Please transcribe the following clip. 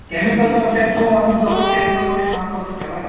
केमिकलचं कसं आहे जो माणूस केमिकलमध्ये काम करतो त्याला